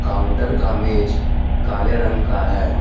Counter का मेज काले रंग का है।